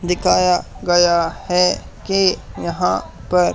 दिखाया गया है कि यहां पर--